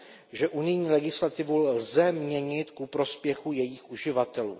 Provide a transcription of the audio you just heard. že unijní legislativu lze měnit ku prospěchu jejích uživatelů.